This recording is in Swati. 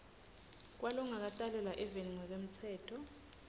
kwalongakatalelwa eveni ngekwemtsetfo